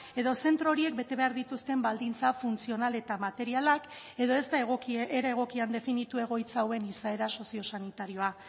edo zentro horiek bete behar dituzten baldintza funtzional eta materialak edo ez da era egokian definitu egoitza hauen izaera sozio sanitarioa